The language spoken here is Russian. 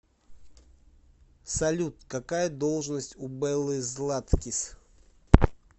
салют какая должность у беллы златкис